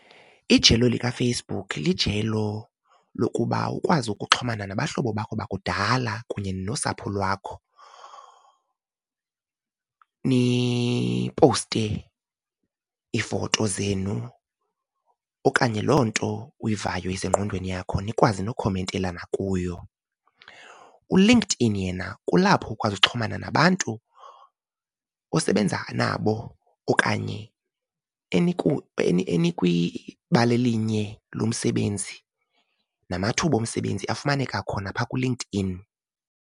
Ijelo likaFacebook lijelo lokuba ukwazi ukuxhumana nabahlobo bakho bakudala kunye nosapho lwakho nipowuste iifoto zenu okanye loo nto uyivayo isengqondweni yakho nikwazi nokhomentelana kuyo. ULinkedIn yena kulapho ukwazi ukuxhumana nabantu osebenza nabo okanye enikwibala elinye lomsebenzi, namathuba omsebenzi afumaneka khona phaa kuLinkedIn.